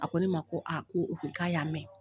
A ko ne ma ko k'a y'a mɛn.